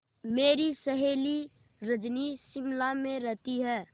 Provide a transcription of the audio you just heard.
मेरी सहेली रजनी शिमला में रहती है